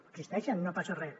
existeixen no passa res